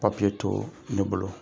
Papiye to ne bolo.